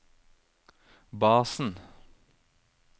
basen